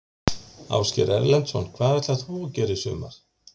Ásgeir Erlendsson: Hvað ætlar þú að gera í sumar?